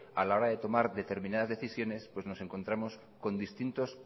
a la hora de tomar determinadas decisiones nos encontramos con distintos